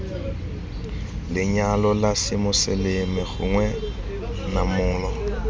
lenyalo la semoseleme gongwe namolo